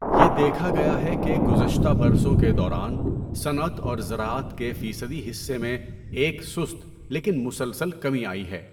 یہ دیکھا گیا ہے کہ گذشتہ برسوں کے دوران صنعت اور زراعت کے فیصدی حصے میں ایک سست لیکن مسلسل کمی آئی ہے۔